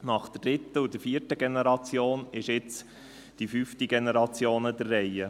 Nach der dritten und vierten Generation ist jetzt die fünfte Generation an der Reihe.